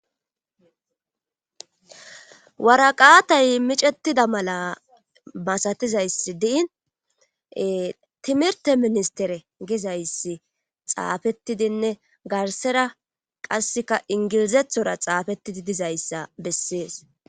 Waraqaatay micettida mala masatizayssi diin timirte ministere gizayssi xaafettidinne garsera qasseka ingilizethora xaafettidi dizayssa bessees.